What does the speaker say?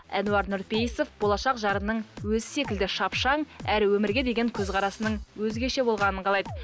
әнуар нүрпейісов болашақ жарының өзі секілді шапшаң әрі өмірге деген көзқарасының өзгеше болғанын қалайды